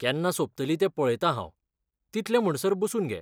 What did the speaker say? केन्ना सोंपतली तें पळयतां हांव, तितले म्हणसर बसून घे.